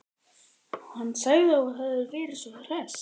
Hann sagði að þú hefðir verið svo hress.